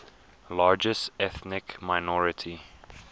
largest ethnic minority